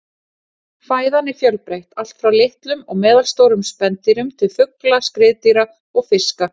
Fæðan er fjölbreytt, allt frá litlum og meðalstórum spendýrum til fugla, skriðdýra og fiska.